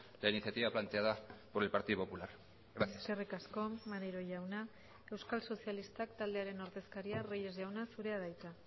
la iniciativa planteada por el partido popular gracias eskerrik asko maneiro jauna euskal sozialistak taldearen ordezkaria reyes jauna zurea da hitza